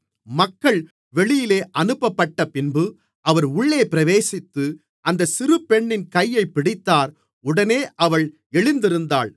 மக்கள் வெளியே அனுப்பப்பட்டப்பின்பு அவர் உள்ளே பிரவேசித்து அந்தச் சிறுபெண்ணின் கையைப் பிடித்தார் உடனே அவள் எழுந்திருந்தாள்